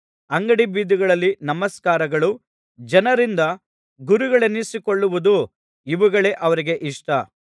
ಅಂಗಡಿ ಬೀದಿಗಳಲ್ಲಿ ನಮಸ್ಕಾರಗಳು ಜನರಿಂದ ಗುರುಗಳೆನ್ನಿಸಿಕೊಳ್ಳುವುದು ಇವುಗಳೇ ಅವರಿಗೆ ಇಷ್ಟ